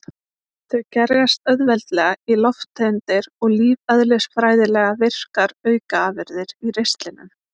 Þau gerjast auðveldlega í lofttegundir og lífeðlisfræðilega virkar aukaafurðir í ristlinum.